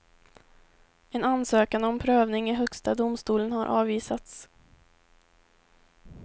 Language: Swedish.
En ansökan om prövning i högsta domstolen har avvisats.